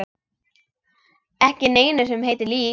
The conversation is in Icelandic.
Ekki neinu sem heitir líf.